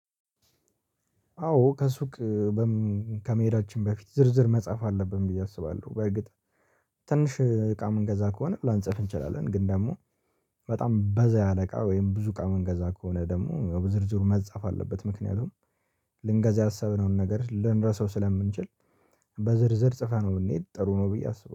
አዎ ከሱቅ ከመሄዳችን በፊት ዝርዝር መጻፍ አለብን ብዬ አስባለሁ። በርግጥ ትንሽ እቃ ምንገዛ ከሆነ ላንጽፍ እንችላለን። ግን ደግሞ በጣም በዛ ያለ እቃ ወይም ብዙ እቃ ምንገዛ ከሆነ ደግሞ ዝርዝሩ መጻፍ አለበት። ምክንያቱም ልንገዛ ያሰብነውን ነገር ልንረሳው ስለምንችል በዝርዝር ጽፈነው ብምንሄድ ጥሩ ነው። ብዬ አስበው